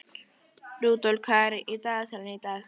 Rudolf, hvað er í dagatalinu í dag?